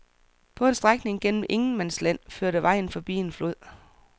På en strækning gennem ingenmandsland førte vejen forbi en flod.